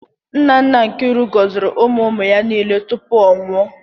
Nna nna Nkiru gọziri ụmụ ụmụ ya niile tupu ọ nwụọ.